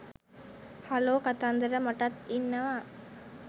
hello කතන්දර මටත් ඉන්නවා